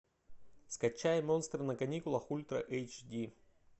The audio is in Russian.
скачай монстры на каникулах ультра эйч ди